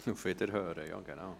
Auf Wiederhören – ja, genau.